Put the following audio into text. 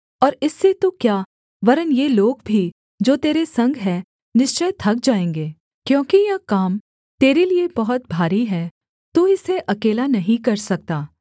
और इससे तू क्या वरन् ये लोग भी जो तेरे संग हैं निश्चय थक जाएँगे क्योंकि यह काम तेरे लिये बहुत भारी है तू इसे अकेला नहीं कर सकता